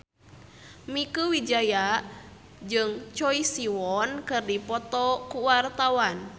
Mieke Wijaya jeung Choi Siwon keur dipoto ku wartawan